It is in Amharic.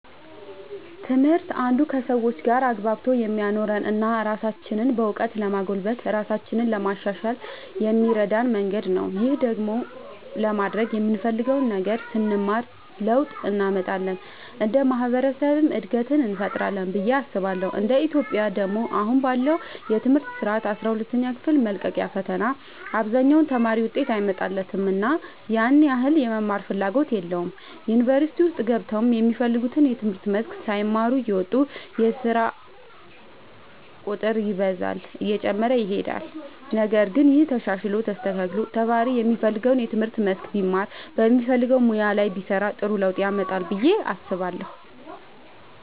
ትምህርት አንዱ ከሰዎች ጋር አግባብቶ የሚያኖረን እና ራሳችንንም በእውቀት ለማጎልበት ራሳችንን ለማሻሻል የሚረዳን መንገድ ነው። ይህን ደግሞ ለማድረግ የምንፈልገውን ነገር ስንማር ለውጥ እንመጣለን እንደ ማህበረሰብም እድገትን እንፈጥራለን ብዬ አስባለሁ እንደ ኢትዮጵያ ደግሞ አሁን ላይ ባለው የትምህርት ስርዓት አስራ ሁለተኛ ክፍል መልቀቂያ ፈተና አብዛኛው ተማሪ ውጤት አይመጣለትምና ያን ያህል የመማርም ፍላጎት የለውም ዩኒቨርሲቲ ውስጥ ገብተውም የሚፈልጉትን የትምህርት መስክ ሳይማሩ እየወጡ የስርዓት ቁጥር ይበዛል እየጨመረም ይሄዳል ነገር ግን ይሄ ተሻሽሎ ተስተካክሎ ተማሪ የሚፈልገውን የትምህርት መስክ ቢማር በሚፈልገው ሙያ ላይ ቢሰማራ ጥሩ ለውጥ ያመጣል ብዬ አስባለሁ።